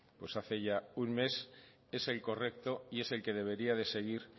pues hace ya un mes es el correcto y es el que debería de seguir